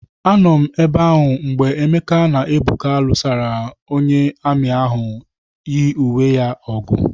Anọ m ebe ahụ mgbe Emeke na Ebuka lụsara onye amị ahụ yi uwe ya ọgụ.